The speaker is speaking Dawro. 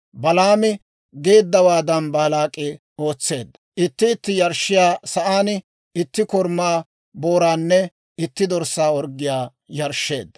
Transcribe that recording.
Balaami geeddawaadan Baalaak'i ootseedda; itti itti yarshshiyaa sa'aan itti korumaa booraanne itti dorssaa orggiyaa yarshsheedda.